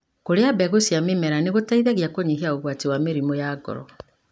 Kũria mbegũ cia mĩmera nĩgũteithagia kũnyihia ũgwati wa mĩrimũ ya ngoro.